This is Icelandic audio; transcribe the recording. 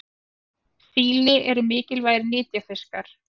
Síli eru mikilvægir nytjafiskar.